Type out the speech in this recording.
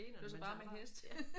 Det var så bare med hest